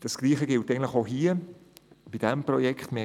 Das Gleiche gilt auch für dieses Projekt hier.